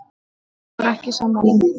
Því er Dagur ekki sammála.